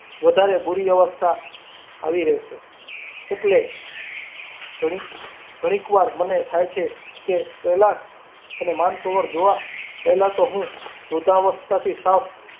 વધારે બૂરી અવસ્થા આવી રહેશે એટલી ઘણી ધણીક વાર મને થાય છે કે, કૈલાસ ને માનસરોવર જોવા પહેલાં તી હું વૃદ્ધાવસ્થાથી સાવ.